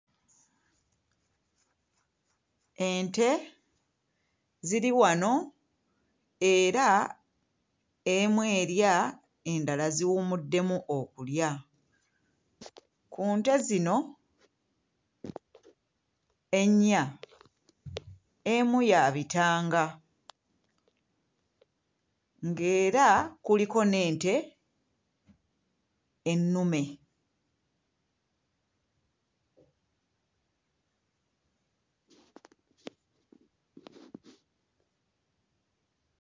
Ente ziri wano era emu erya endala ziwummuddemu okulya. Ku nte zino ennya emu ya bitanga ng'era kuliko n'ente ennume.